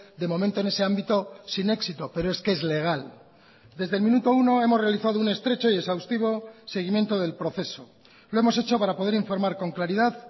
de momento en ese ámbito sin éxito pero es que es legal desde el minuto uno hemos realizado un estrecho y exhaustivo seguimiento del proceso lo hemos hecho para poder informar con claridad